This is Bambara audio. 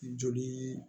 Joli